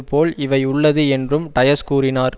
போல் இவை உள்ளது என்று டயஸ் கூறினார்